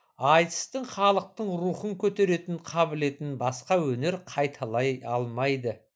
айтыстың халықтың рухын көтеретін қабілетін басқа өнер қайталай алмайды